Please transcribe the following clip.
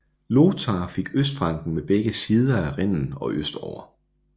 Lothar fik Østfranken med begge sider af Rhinen og østover